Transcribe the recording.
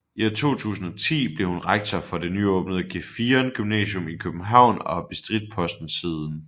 I 2010 blev hun rektor for det nyåbnede Gefion Gymnasium i København og har bestridt posten siden